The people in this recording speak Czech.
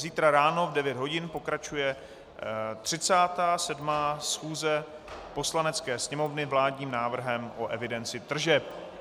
Zítra ráno v 9 hodin pokračuje 37. schůze Poslanecké sněmovny vládním návrhem o evidenci tržeb.